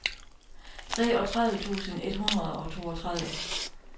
treogtredive tusind et hundrede og toogtredive